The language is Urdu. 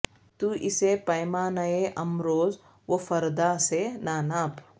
تو اسے پیمانہء امروز و فردا سے نہ ناپ